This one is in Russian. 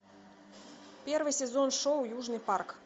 первый сезон шоу южный парк